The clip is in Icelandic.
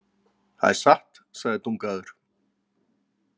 Það er satt, segir Dungaður.